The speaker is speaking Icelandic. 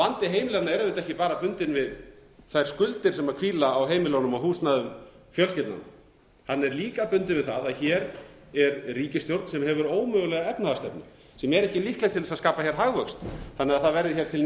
vandi heimilanna er ekki bara bundinn við þær skuldir sem hvíla á heimilunum og húsnæði fjölskyldnanna hann er líka bundinn við það að hér er ríkisstjórn sem hefur ómögulega efnahagsstefnu sem er ekki líkleg til að skapa hér hagvöxt þannig að það verði hér til ný